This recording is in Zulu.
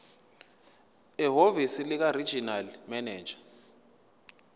ehhovisi likaregional manager